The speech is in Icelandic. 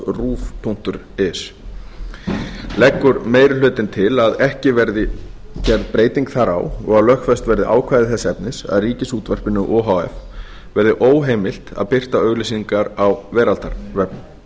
wwwruv punktur is leggur meiri hlutinn til að ekki verði gerð breyting þar á og að lögfest verði ákvæði þess efnis að ríkisútvarpinu o h f verði óheimilt að birta auglýsingar á veraldarvefnum